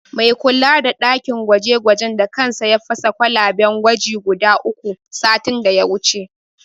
Mai kula da ɗakin gwaje-gwajen da kansa ya fasa kwalaben gwaji guda uku, satin da ya wuce.